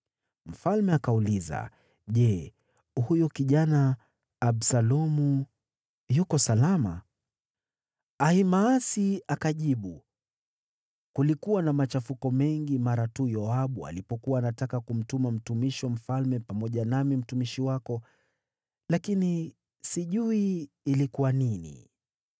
Mfalme akauliza, “Je, huyo kijana Absalomu yuko salama?” Ahimaasi akajibu, “Kulikuwa na machafuko mengi mara tu Yoabu alipokuwa anataka kumtuma mtumishi wa mfalme pamoja nami mtumishi wako, lakini sijui ilikuwa nini?”